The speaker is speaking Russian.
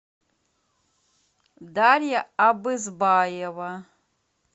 дарья абызбаева